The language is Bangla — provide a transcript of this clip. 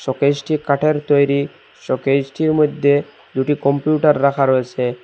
শোকেসটি কাঠের তৈরি শোকেসটির মধ্যে দুটি কম্পিউটার রাখা রয়েসে।